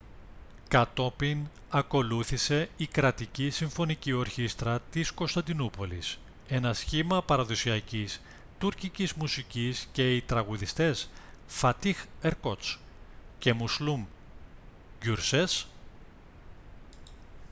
κατόπιν ακολούθησε η κρατική συμφωνική ορχήστρα της κωνσταντινούπολης ένα σχήμα παραδοσιακής τουρκικής μουσικής και οι τραγουδιστές φατίχ ερκότς και μουσλούμ γκιουρσές